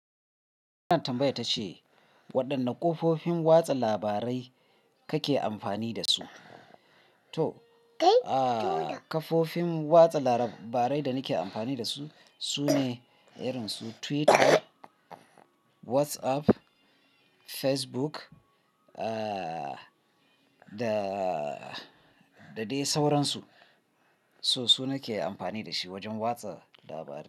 Wannan tambaya ta ce waɗanne kafofin watsa labarai kake amfani da su? To kafofin watsa labarai da nake amfani da su sune irin su Twitter, WhatsApp, Facebook da da dai sauransu. So su nake amfani da shi wajen watsa labarai.